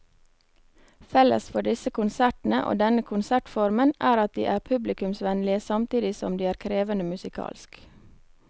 Felles for disse konsertene og denne konsertformen er at de er publikumsvennlige samtidig som de er krevende musikalsk.